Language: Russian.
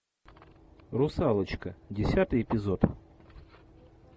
русалочка десятый эпизод